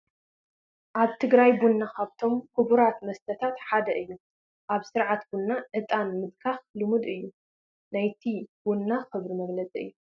ኣብ ትግራይ ቡና ካብቶም ክቡራት መስተታት ሓደ እዩ፡፡ ኣብ ስርዓት ቡና ዕጣን ምድካር ልሙድ እዩ፡፡ ናይቲ ቡና ክብሪ መግለፂ እዩ፡፡